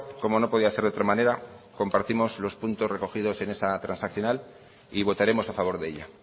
como no podía ser de otra manera compartimos los puntos recogidos en esa transaccional y votaremos a favor de ella